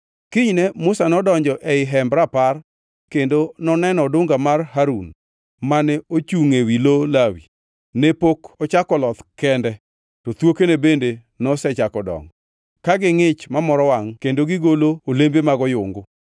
Kinyne Musa nodonjo ei Hemb Rapar kendo noneno odunga mar Harun, mane ochungʼ e lo Lawi, ne pok ochako loth kende to thuokene bende nosechako dongo, ka gingʼich mamoro wangʼ kendo gigolo olembe mag oyungu.